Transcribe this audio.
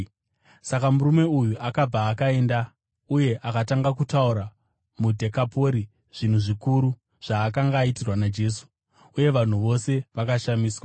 Saka murume uyu akabva akaenda uye akatanga kutaura muDhekapori zvinhu zvikuru zvaakanga aitirwa naJesu. Uye vanhu vose vakashamiswa.